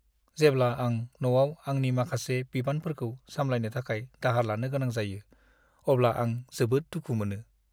जेब्ला आं न'आव आंनि माखासे बिबानफोरखौ सामलायनो थाखाय दाहार लानो गोनां जायो, अब्ला आं जोबोद दुखु मोनो।